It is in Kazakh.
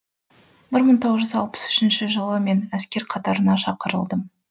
бір мың тоғыз жүз алпыс үшінші жылы мен әскер қатарына шақырылдым